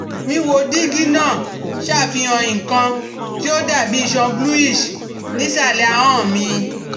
Wíwo dígí náà ṣàfihàn nnkan tí ó dàbí iṣan bluish ní ìsàlẹ̀ ahọ́n mi